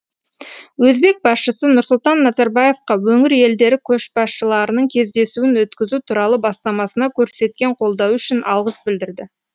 өзбек басшысы нұрсұлтан назарбаевқа өңір елдері көшбасшыларының кездесуін өткізу туралы бастамасына көрсеткен қолдауы үшін алғыс білдірді